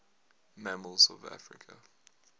mammals of africa